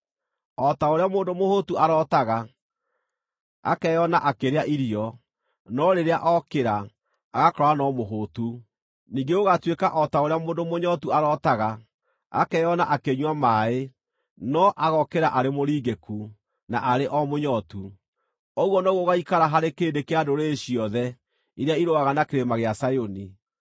o ta ũrĩa mũndũ mũhũtu arootaga, akeyona akĩrĩa irio, no rĩrĩa okĩra, agakora no mũhũtu; ningĩ gũgaatuĩka o ta ũrĩa mũndũ mũnyootu arootaga, akeyona akĩnyua maaĩ, no agokĩra arĩ mũringĩku, na arĩ o mũnyootu. Ũguo noguo gũgaikara harĩ kĩrĩndĩ kĩa ndũrĩrĩ ciothe iria irũaga na Kĩrĩma gĩa Zayuni.